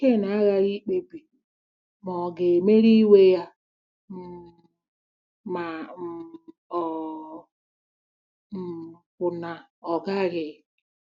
Ken aghaghị ikpebi ma ọ̀ ga-emeri iwe ya um ma um ọ um bụ na ọ gaghị.